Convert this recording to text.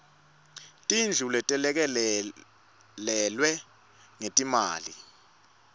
tindlu letelekelelwe ngetimali